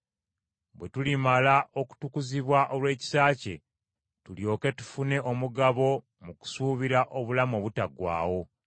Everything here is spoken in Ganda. Bwe tulimala okutukuzibwa olw’ekisa kye, tulyoke tufune omugabo mu kusuubira obulamu obutaggwaawo.